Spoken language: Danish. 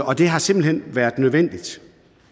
og det har simpelt hen været nødvendigt